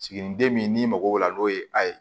Siginiden min n'i mago b'o la n'o ye a ye